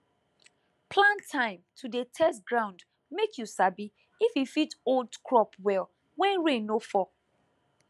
plan time to dey test ground make you sabi if e fit hold crop well when rain no fall